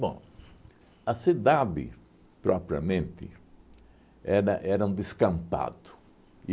Bom, a cidade, propriamente, era era um descampado.